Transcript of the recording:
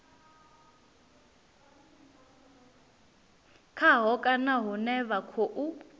khaho kana hune vha khou